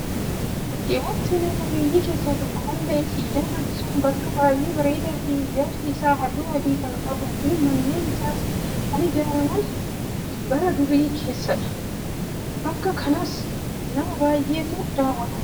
Bakkeewwan seenaa qabeeyyii keessaa tokko kan ta'e siidaan Aksum bakka baay'ee bareedaa fi ijaarsi isaa halluu adii kan qabuu fi manneen isaas kan ijaaraman bara durii keessadha. Bakka kanasa nama baay'eetu daawwata.